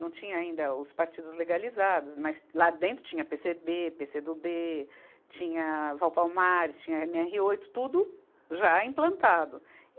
Não tinha ainda os partidos legalizados, mas lá dentro tinha PêCêBê, PêCêdoBê, tinha Valpalmares, tinha EmeErre oito, tudo já implantado.